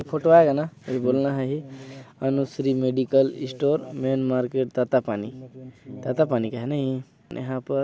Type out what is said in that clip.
photo आएगा ना बोलना है ये Anushree medical store main market Tatapani Tatapani काह नइ--